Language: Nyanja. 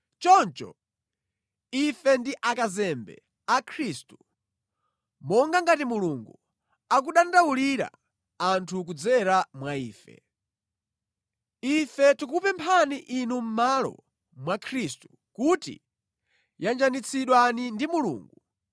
Choncho ife ndi akazembe a Khristu, monga ngati Mulungu akudandaulira anthu kudzera mwa ife. Ife tikukupemphani inu mʼmalo mwa Khristu kuti, yanjanitsidwani ndi Mulungu.